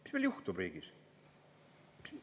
Mis meil juhtub riigis?